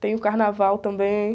Tem o carnaval também.